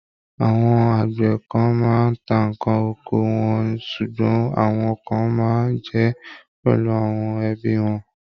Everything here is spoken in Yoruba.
Àwọn àgbẹ̀ kan máa ń tá ǹkan oko wọn ṣùgbọ́n àwọn kan máa ń jẹ́ pẹ̀lú àwọn ẹbí wọn.